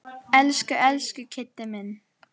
Elsku, elsku Kiddi minn.